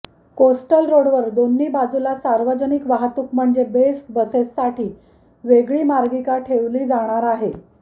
coastal रोडवर दोन्ही बाजूला सार्वजनिक वाहतूक म्हणजे बेस्ट बसेससाठी वेगळी मार्गिका ठेवली जाणाराय